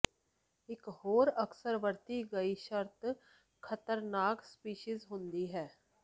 ਇਕ ਹੋਰ ਅਕਸਰ ਵਰਤੀ ਗਈ ਸ਼ਰਤ ਖ਼ਤਰਨਾਕ ਸਪੀਸੀਜ਼ ਹੁੰਦੀ ਹੈ